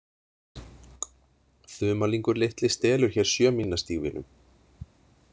Þumalingur litli stelur hér sjömílnastígvélum.